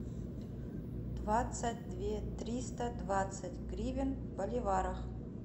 двадцать две триста двадцать гривен в боливарах